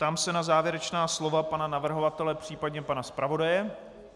Ptám se na závěrečná slova pana navrhovatele, případně pana zpravodaje.